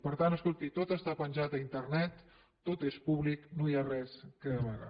per tant escolti tot està penjat a internet tot és públic no hi ha res a amagar